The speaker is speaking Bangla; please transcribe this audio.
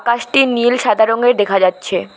আকাশটি নীল সাদা রঙের দেখা যাচ্ছে।